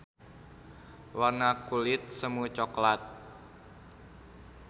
Warna kulit semu coklat.